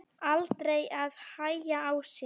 Aldrei að hægja á sér.